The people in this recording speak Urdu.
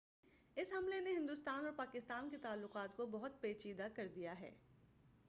اس حملے نے ہندوستان اور پاکستان کے تعلقات کو بہت پیچیدہ کر دیا ہے